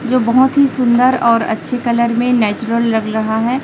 जो बहोत ही सुंदर और अच्छी कलर में नेचुरल लग रहा है।